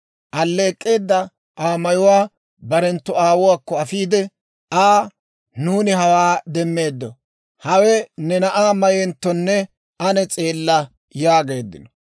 Alleek'k'eedda Aa mayuwaa barenttu aawuwaakko afiide Aa, «Nuuni hawaa demmeeddo; hawe ne na'aa mayenttonne ane s'eella» yaageeddino.